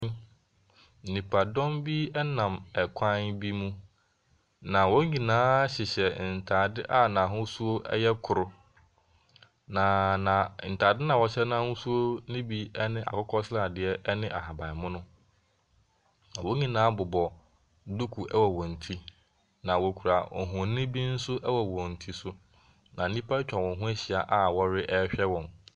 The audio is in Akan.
Nnipadɔm bi nam kwan bi mu, na wɔn nyinaa hyehyɛ ntaade a n’ahosu yɛ koro. Na na ntaade no a wɔhyɛ n’ahosu ne bi ne akokɔsradeɛ ne ahabanmono. Na wɔn nyinaa bobɔ duku wɔ wɔn ti. Na wokura mfonini bi nso wɔ wɔn ti so. Na nnipa atwa wɔn ho ahyia a wɔrehwɛ wɔn.